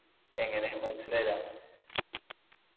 എങ്ങനെ മനസിലായില്ല